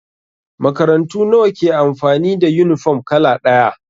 Makarantu nawa ke amfani da yunifom kala ɗaya?